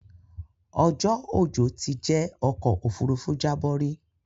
Ọjọ́ ojò ti jẹ́ ọ̀kọ̀ ofúrúfú jábọ̀ rí